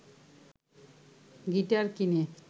guitar কিনে